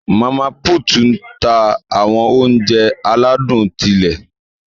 Mama put n tá awọn ounjẹ aladun ti ilé.